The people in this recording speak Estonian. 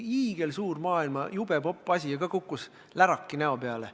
Hiigelsuur, maailmas jube popp asi, aga samuti kukkus läraki näo peale.